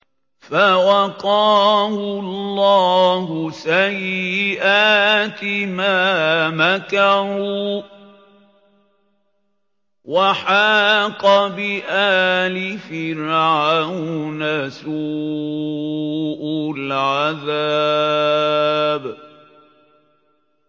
فَوَقَاهُ اللَّهُ سَيِّئَاتِ مَا مَكَرُوا ۖ وَحَاقَ بِآلِ فِرْعَوْنَ سُوءُ الْعَذَابِ